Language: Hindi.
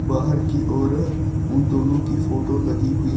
बाहर की ओर उन दोनों की फोटो लगी हुई--